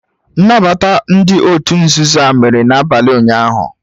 Nnabata ndị òtù nzuzo a mere n'abalị ụnyahụ